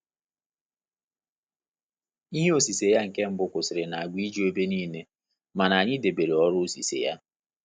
Ihe osise ya nke mbụ kwụsịrị na agwa iju ebe niile, mana anyị debere ọrụ osise ya.